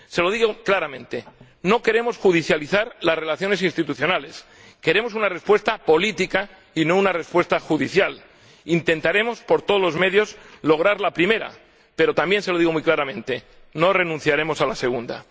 Se lo digo claramente no queremos judicializar las relaciones institucionales, queremos una respuesta política y no una respuesta judicial. Intentaremos por todos los medios lograr la primera, pero —también se lo digo muy claramente— no renunciaremos a la segunda.